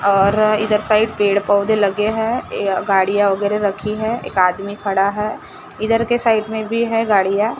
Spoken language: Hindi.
और इधर साइड पेड़ पौधे लगे हैं ये गाड़ियां वगैरह रखी है एक आदमी खड़ा है इधर के साइड में भी है गाड़िया।